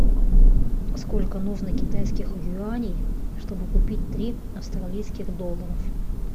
сколько нужно китайских юаней чтобы купить три австралийских доллара